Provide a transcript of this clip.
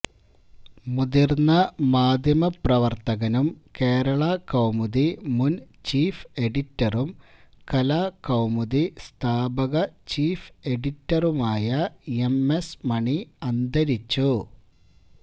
മുതിര്ന്ന മാധ്യമപ്രവര്ത്തകനും കേരള കൌമുദി മുന് ചീഫ് എഡിറ്ററും കലാകൌമുദി സ്ഥാപക ചീഫ് എഡിറ്ററുമായ എം എസ് മണി അന്തരിച്ചു